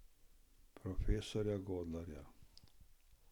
Profesorja Godlerja?